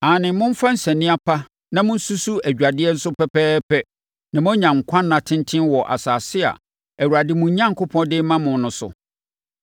Aane, momfa nsania pa na monsusu adwadeɛ nso pɛpɛɛpɛ na moanya nkwa nna tenten wɔ asase a Awurade, mo Onyankopɔn, de rema mo no so.